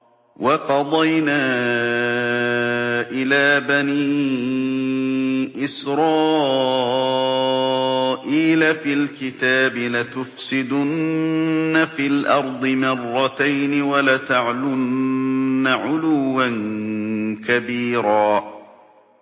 وَقَضَيْنَا إِلَىٰ بَنِي إِسْرَائِيلَ فِي الْكِتَابِ لَتُفْسِدُنَّ فِي الْأَرْضِ مَرَّتَيْنِ وَلَتَعْلُنَّ عُلُوًّا كَبِيرًا